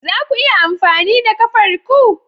Za ku iya amfani da kafar ku?